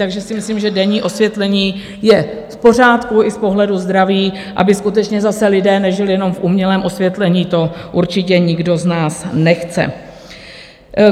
Takže si myslím, že denní osvětlení je v pořádku i z pohledu zdraví, aby skutečně zase lidé nežili jenom v umělém osvětlení, to určitě nikdo z nás nechce.